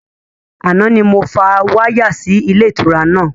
Àná ni mo fa wáyà sì ilé ìtura náà